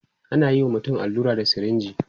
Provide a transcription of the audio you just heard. anayi wa mutum allura da sirinji